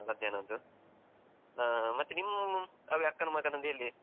ಮಧ್ಯಾನದ್ದು, ಹಾ ಮತ್ತೆ ನಿಮ್ ಅದೆ ಅಕ್ಕನ ಮಗನದ್ದು ಎಲ್ಲಿ?